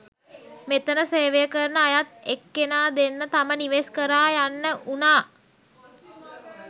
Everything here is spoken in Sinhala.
මෙතන සේවය කරන අයත් එක්කෙනා දෙන්න තම නිවෙස් කරා යන්න වුනා.